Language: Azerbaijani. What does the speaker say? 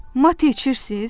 Mate içirsiz?